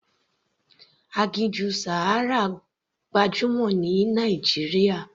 Aginjù Sahara gbajúmọ̀ ní Nàìjíríà.